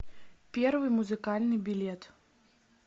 первый музыкальный билет